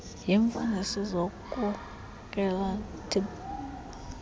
yemfundiso ngezokhenketho tlp